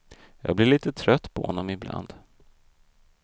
Jag blir lite trött på honom ibland.